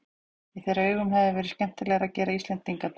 Í þeirra augum hefði verið skemmdarverk að gera Íslendinga að Dönum.